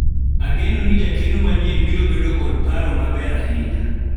ageno ni jakeno manyien biro bedo kod paro maber ahinya